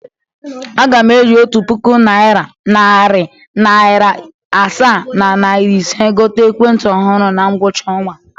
Aga m eji otu puku naịra, narị naịra asaa na naịra ise gote ekwentị ọhụrụ na ngwụcha ọnwa a.